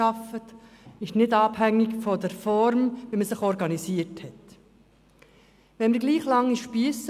Es ist nicht abhängig von der Organisationsform, ob jemand sauber und gut arbeitet.